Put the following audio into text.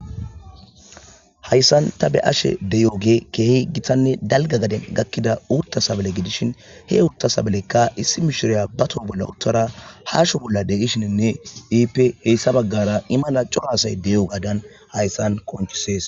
hayssan ta be ashe deyoge keehi gitanne dalga gaden gakkida uutta sabale gidishin he uutta sabalekka issi mishiriya bato bolla uttara haasho bolla degishininne iip heyssa baggara i mala coro asay deyo gaadan hayssan konchisees